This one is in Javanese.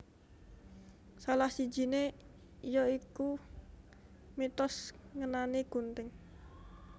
Salah sijiné ya iku mitos ngenani gunting